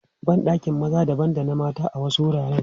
Ban ɗakin maza dabam da na mata a wasu wuraren.